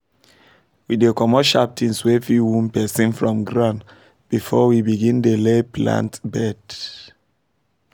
we dey comot sharp things wey fit wound person from ground before we begin dey lay plant bed